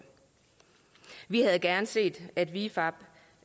vi havde gerne set at vifab